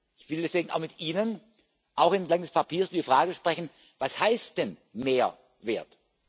Ich will deswegen auch mit Ihnen, auch entlang des Papiers über die Frage sprechen Was heißt denn Mehrwert?